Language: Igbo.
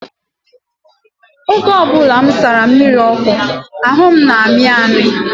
Oge ọ bụla m sara mmiri ọkụ, ahụ m na-amị amị.